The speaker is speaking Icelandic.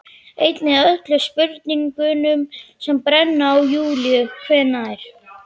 Einnig öllum spurningunum sem brenna á Júlíu: Hvenær